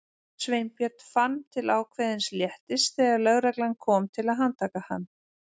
Sveinbjörn fann til ákveðins léttis þegar lögreglan kom til að handtaka hann.